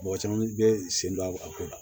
Mɔgɔ caman bɛ sen don a ko la